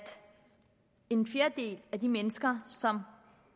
en fjerdedel af de mennesker som